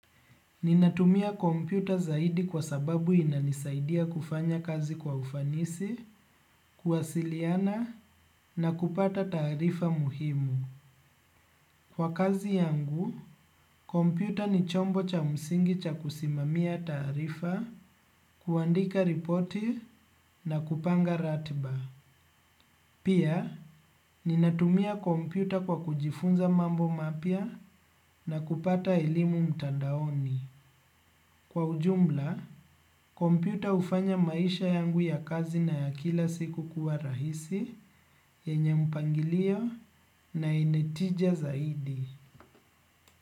Ninatumia kompyuta zaidi kwa sababu inanisaidia kufanya kazi kwa ufanisi, kuwasiliana na kupata taarifa muhimu. Kwa kazi yangu, kompyuta ni chombo cha msingi cha kusimamia taarifa, kuandika ripoti na kupanga ratiba. Pia, ninatumia kompyuta kwa kujifunza mambo mapia na kupata ilimu mtandaoni. Kwa ujumla, kompyuta hufanya maisha yangu ya kazi na ya kila siku kuwa rahisi, yenye mpangilio na yenye tija zaidi.